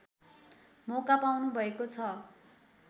मौका पाउनुभएको छ